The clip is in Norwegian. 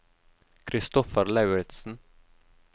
Kristoffer Lauritsen